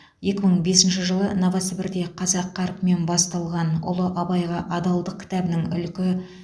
екі мың бесінші жылы новосібірде қазақ қарпімен басылған ұлы абайға адалдық кітабының ілкі